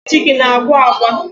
Nchịkị na-agwa agwa